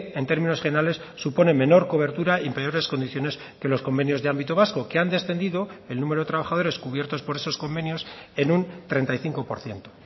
en términos generales supone menor cobertura y peores condiciones que los convenios de ámbito vasco que han descendido el número de trabajadores cubiertos por esos convenios en un treinta y cinco por ciento